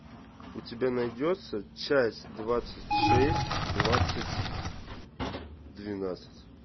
у тебя найдется часть двадцать шесть двадцать двенадцать